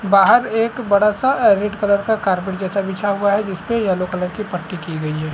बाहर एक बड़ा-सा अ रेड कलर का कार्पेट जैसा बिछा हुआ है जिसपे यलो कलर की पट्टी की गई है।